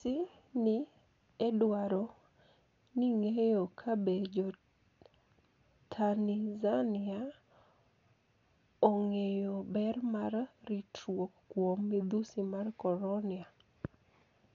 BBC ni e dwaro nig'eyo kabe jo Tanizaniia onig'eyo ber mar ritruok kuom midhusi mar koronia.